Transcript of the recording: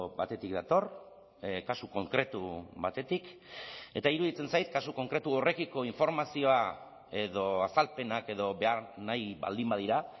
batetik dator kasu konkretu batetik eta iruditzen zait kasu konkretu horrekiko informazioa edo azalpenak edo behar nahi baldin badira